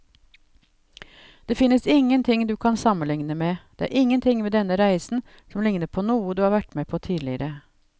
Det finnes ingenting du kan sammenligne med, det er ingenting ved denne reisen som ligner på noe du har vært med på tidligere.